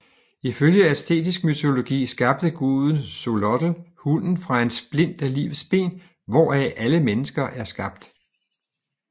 Ifølge aztekisk mytologi skabte guden Xolotl hunden fra en splint af livets ben hvorfra alle mennesker er skabt